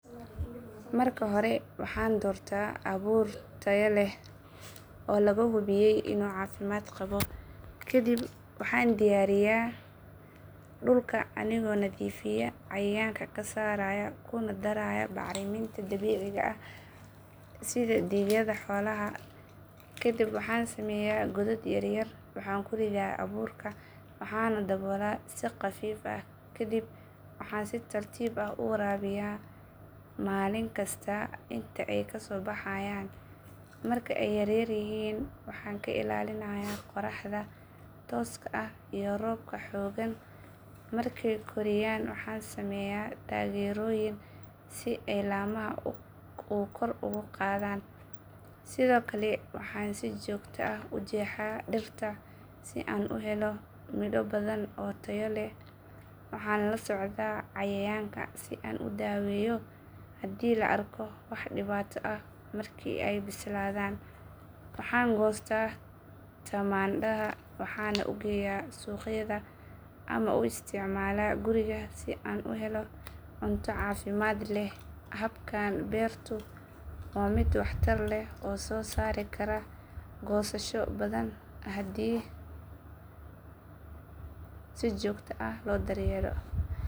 Marka hore, waxaan doortaa abuur tayo leh oo lagu hubiyey in uu caafimaad qabo. Kadib waxaan diyaariyaa dhulka anigoo nadiifinaya, cayayaanka ka saarayo, kuna darayo bacriminta dabiiciga ah sida digaagga xoolaha. Kadib, waxaan sameeyaa godaad yaryar, waxaan ku ridaa abuurka, waxaana dabooleyaa si khafiif ah. Kadib waxaan si tartiib ah u waraabiyaa maalin kasta ilaa ay ka soo baxayaan. Marka ay yaryar yihiin, waxaan ka ilaaliyaa qoraxda tooska ah iyo roobka xad dhaafka ah. Marka ay korayaan, waxaan sameeyaa taageeroyin si ay laamaha ugu qabsadaan oo ay kor ugu qaadaan. Sidoo kale, waxaan si toos ah ugu jeclaa dhirta si aan u helo miro badan oo tayo leh. Waxaan la socdaa cayayaanka si aan u daweeyo haddii la arko wax dhib ah. Marka ay bislaadaan, waxaan goostaa tamaandhada, waxaana u geeyaa suuqyada ama u isticmaalaa guriga si aan u helo cunto caafimaad leh. Habkan beertu waa mid caafimaad leh oo soo saari karo goosasho badan haddii si joogto ah loo daryeelo.